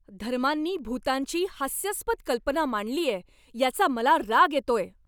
धर्मांनी भूतांची हास्यास्पद कल्पना मांडलीये याचा मला राग येतोय.